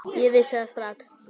Ég vissi það strax þá.